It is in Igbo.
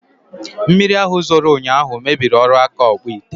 Mmiri ahụ zoro ụnyaahụ mebiri ọrụ aka Ọkpụịte